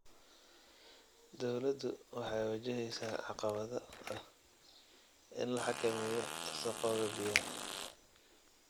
Dawladdu waxay wajaheysaa caqabada ah in la xakameeyo wasakhowga biyaha.